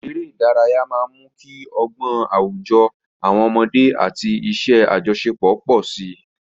Eré ìdárayá máa ń mú kí ọgbọ́n àwùjọ àwọn ọmọdé àti iṣẹ́ àjọṣepọ̀ pọ̀ sí i.